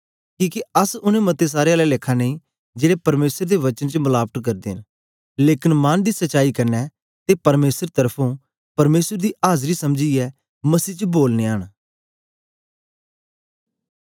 किके अस उनै मतें सारें आला लेखा नेई जेड़े परमेसर दे वचन च मलावट करदे न लेकन मन दी सच्चाई कन्ने ते परमेसर तरफुं परमेसर दी आजरी समझीयै मसीह च बोलनयां न